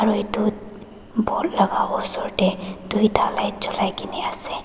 etu board laka osor dae toita light jolai na asae.